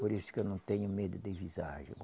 Por isso que eu não tenho medo de visagem.